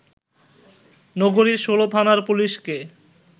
নগরীর ১৬ থানার পুলিশকে